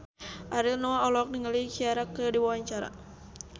Ariel Noah olohok ningali Ciara keur diwawancara